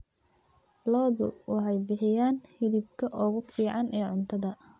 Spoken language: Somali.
Lo'du waxay bixiyaan hilibka ugu fiican ee cuntada.